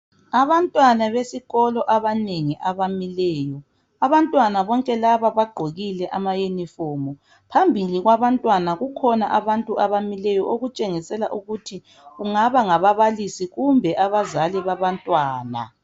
Abantwana besikolo abanengi abamileyo abantwana bonke laba bagqokile ama uniform phambili kwabantwana kukhona abantu abamileyo okutshengisela ukuthi kungaba ngababalisi kumbe abazali babantwana.